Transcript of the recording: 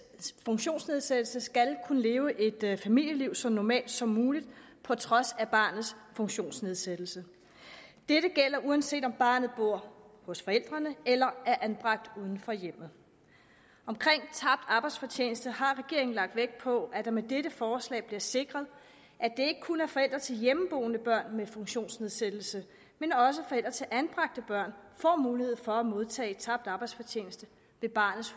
funktionsnedsættelse skal kunne leve et familieliv så normalt som muligt på trods af barnets funktionsnedsættelse dette gælder uanset om barnet bor hos forældrene eller er anbragt uden for hjemmet omkring tabt arbejdsfortjeneste har regeringen lagt vægt på at det med dette forslag bliver sikret at ikke kun forældre til hjemmeboende børn med funktionsnedsættelse men også forældre til anbragte børn får mulighed for at modtage tabt arbejdsfortjeneste ved barnets